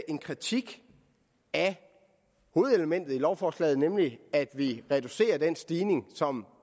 en kritik af hovedelementet i lovforslaget nemlig at vi reducerer den stigning som